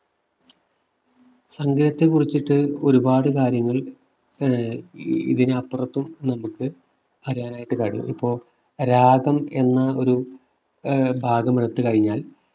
സംഗീതത്തെ കുറിച്ചിട്ട് ഒരുപാട് കാര്യങ്ങൾ ആഹ് ഇതിന് അപ്പുറത്തും നമുക്ക് പറയാനായിട്ട് കാണും ഇപ്പോ രാഗം എന്ന ഒരു ഭാഗം ഏർ എടുത്തു കഴിഞ്ഞാൽ